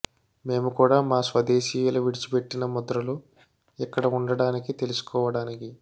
మేము కూడా మా స్వదేశీయుల విడిచిపెట్టిన ముద్రలు ఇక్కడ ఉండడానికి తెలుసుకోవడానికి